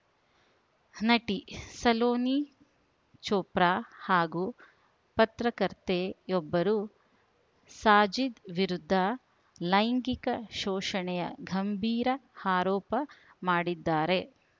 ನಟಿ ಸಲೋನಿ ಚೋಪ್ರಾ ಹಾಗೂ ಪತ್ರಕರ್ತೆಯೊಬ್ಬರು ಸಾಜಿದ್‌ ವಿರುದ್ಧ ಲೈಂಗಿಕ ಶೋಷಣೆಯ ಗಂಭೀರ ಅರೋಪ ಮಾಡಿದ್ದಾರೆ